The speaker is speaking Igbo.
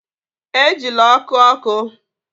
Ejila ọkụ ọkụ!